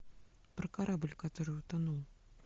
про корабль который утонул